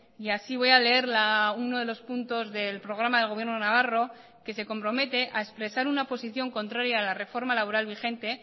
y así voy a leer uno de los puntos del programa del gobierno navarro que se compromete a expresar una posición contraria a la reforma laboral vigente